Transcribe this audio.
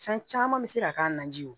Fɛn caman bɛ se ka k'a la naji ye